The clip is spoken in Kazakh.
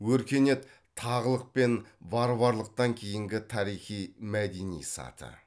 өркениет тағылық пен варварлықтан кейінгі тарихи мәдени саты